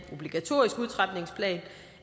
obligatorisk udtrapningsplan